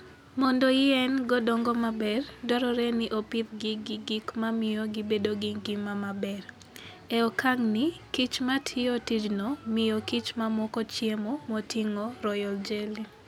Mondo yien go dongo maber, dwarore ni opidhgi gi gik mamiyo gibedo gi ngima maber. E okang'ni, kich ma tiyo tijno miyo kich mamoko chiemo moting'o royal jelly